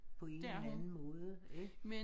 På en eller anden måde ikke